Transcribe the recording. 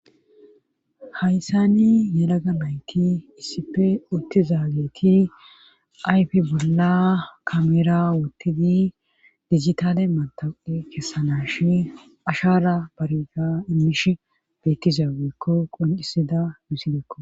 Hayssani yalaga mayti issippe uttiza geeti ayfe bolla kamera wottidi dijitale mataqe kessanashi ashara bariga immish bettiza weekko qoncisida musidekko.